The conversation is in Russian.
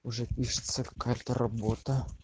уже пишется какая то работа